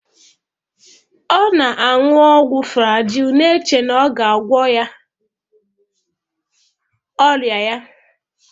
Ọ nọ na-aṅụ ọgwụ Flajilụ na-eche na ọ ga-agwọ ọrịa ya